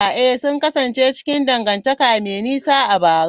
Ee, sun kasance cikin dangantaka mai nisa a bara.